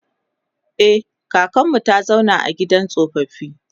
e kakanmu ta zauna a gidan tsofaffi